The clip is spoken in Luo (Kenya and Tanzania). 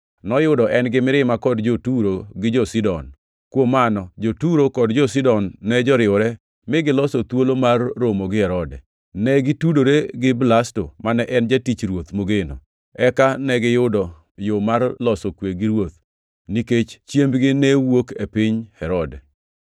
Noyudo en-gi mirima kod jo-Turo gi jo-Sidon. Kuom mano jo-Turo kod jo-Sidon ne joriwore mi giloso thuolo mar romo gi Herode. Ne gitudore gi Blasto, mane en jatich ruoth mogeno, eka negiyudo yo mar loso kwe gi ruoth, nikech chiembgi ne wuok e piny Herode.